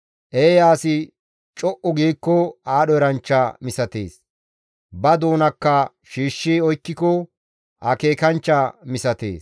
Eeya asi co7u giikko aadho eranchcha misatees; ba doonakka shiishshi oykkiko akeekanchcha misatees.